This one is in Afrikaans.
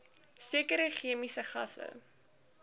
sekere chemiese gasse